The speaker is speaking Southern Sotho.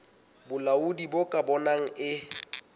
bolaodi bo ka bonang e